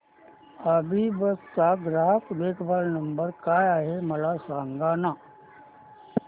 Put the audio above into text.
अभिबस चा ग्राहक देखभाल नंबर काय आहे मला सांगाना